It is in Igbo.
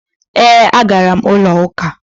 E, a gara m ulo uka.